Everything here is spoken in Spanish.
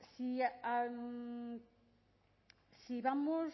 si vamos